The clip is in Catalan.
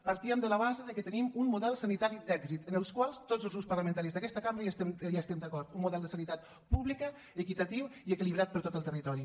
partíem de la base que tenim un model sanitari d’èxit amb el qual tots els grups parlamentaris d’aquesta cambra estem d’acord un model de sanitat pública equitatiu i equilibrat per a tot el territori